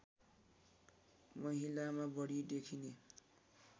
महिलामा बढी देखिने